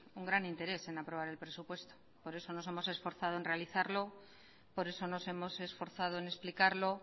un gran interés en aprobar el presupuesto por eso nos hemos esforzado en realizarlo por eso nos hemos esforzado en explicarlo